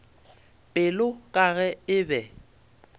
pelo ka ge e be